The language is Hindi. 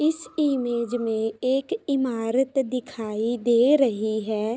इस इमेज में एक इमारत दिखाई दे रही है।